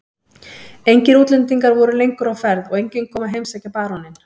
Engir útlendingar voru lengur á ferð og enginn kom að heimsækja baróninn.